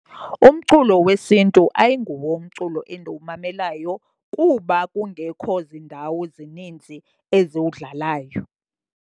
Umculo wesiNtu ayinguwo umculo endiwumamelayo kuba kungekho ziindawo zininzi eziwudlalayo.